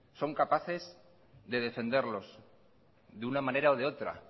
son capaces de defenderlos de una manera o de otra